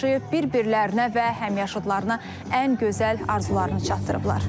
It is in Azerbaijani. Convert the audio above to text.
Bir-birlərinə və həmyaşıdlarına ən gözəl arzularını çatdırıblar.